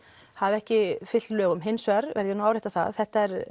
hafi ekki fylgt lögum en hins vegar verð ég að árétta að þetta eru